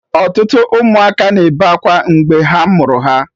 Ọtụtụ ụmụaka na-ebe akwa mgbe ha mụrụ ha.